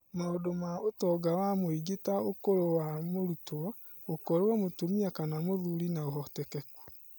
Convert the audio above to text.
Maũndũ ma ũtonga wa mũingĩ ta ũkũrũ wa mũrutwo, gũkorwo mũtumia kana mũthuri na ũhotekeku.